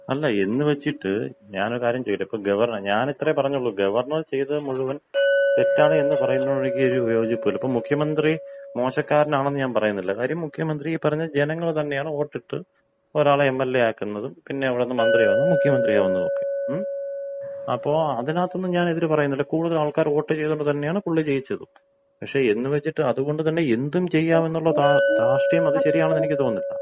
അല്ല, എന്ന് വെച്ചിട്ട് ഞാൻ ഒരു കാര്യം ചോദിക്കട്ടെ, ഞാൻ ഇത്രയേ പറഞ്ഞുള്ളൂ ഗവർണർ ചെയ്തത് മുഴുവൻ തെറ്റാണ് എന്ന് പറയുന്നതിനോട് എനിക്ക് ഒരു യോജിപ്പുമില്ല. ഇപ്പോൾ മുഖ്യമന്ത്രി മോശക്കാരൻ ആണെന്ന് ഞാൻ പറയുന്നില്ല. കാര്യം മുഖ്യമന്ത്രി ഈ പറഞ്ഞ ജനങ്ങൾ തന്നെയാണ് വോട്ടിട്ട് ഒരാളെ എം.എൽ.എ. ആക്കുന്നതും പിന്നെ അവിടുന്ന് മന്ത്രിയാവുന്നു മുഖ്യമന്ത്രിയാകുന്നതും ഒക്കെ. അപ്പോ അതിന്‍റെ അകത്തൊന്നും ഞാൻ എതിര് പറയുന്നില്ല കൂടുതൽ ആളുകൾ വോട്ട് ചെയ്തത് കൊണ്ടു തന്നെയാണ് പുള്ളി ജയിച്ചതും. പക്ഷെ എന്ന് വച്ചിട്ട് അതുകൊണ്ട് എന്തും ചെയ്യാം എന്നുള്ള ധാർഷ്ട്യം അത് ശരിയാണെന്ന് എനിക്ക് തോന്നുന്നില്ല.